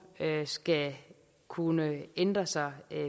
skal kunne ændre sig